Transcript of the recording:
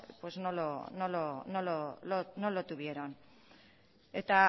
pues no lo tuvieron eta